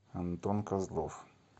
антон козлов